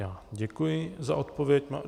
Já děkuji za odpověď.